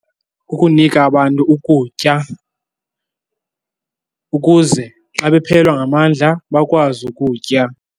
Kukunika abantu ukutya ukuze xa bephelelwa ngamandla bakwazi ukutya.